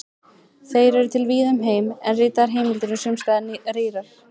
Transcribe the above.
Þeir eru til víða um heim, en ritaðar heimildir eru sums staðar rýrar.